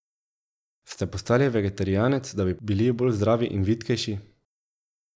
Ste postali vegetarijanec, da bi bili bolj zdravi in vitkejši?